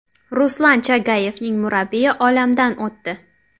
Ruslan Chagayevning murabbiyi olamdan o‘tdi.